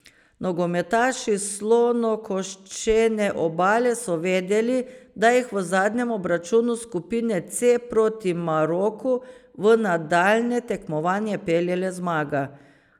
Nogometaši Slonokoščene obale so vedeli, da jih v zadnjem obračunu skupine C proti Maroku v nadaljnje tekmovanje pelje le zmaga.